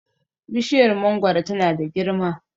bishiyar mangoro tana da girma